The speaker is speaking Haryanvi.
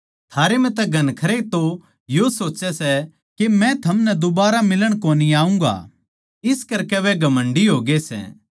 थारे म्ह तै घणखरे तो यो सोच्चै सै के मै थमनै दुबारा मिलण कोनी आऊँगा इस करकै वे घमण्डी होगे सै